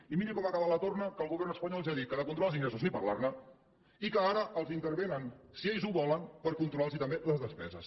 i miri com acaba la torna que el govern espanyol ja ha dit que de controlar els ingressos ni parlar ne i que ara els intervenen si ells ho volen per controlar los també les despeses